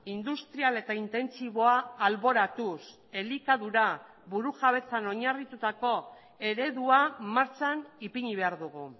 industrial eta intentsiboa alboratuz elikadura burujabetzan oinarritutako eredua martxan ipini behar dugu